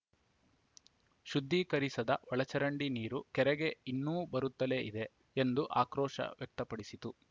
ಶುದ್ಧೀಕರಿಸದ ಒಳಚರಂಡಿ ನೀರು ಕೆರೆಗೆ ಇನ್ನೂ ಬರುತ್ತಲೇ ಇದೆ ಎಂದು ಆಕ್ರೋಶ ವ್ಯಕ್ತಪಡಿಸಿತು